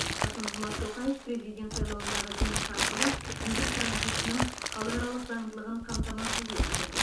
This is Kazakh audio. касым жомарт тоқаев президент сайлауындағы жеңісі арқылы билік транзитінің халықаралық заңдылығын қамтамасыз етті